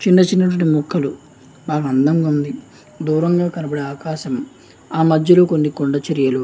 చిన్న చిన్న ముక్కలు చానా అందంగా ఉంది దూరంలో కనపడే ఆకాశం ఆ మధ్యలో కొన్ని కొండ చర్యలు --